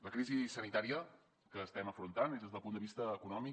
la crisi sanitària que estem afrontant és des del punt de vista econòmic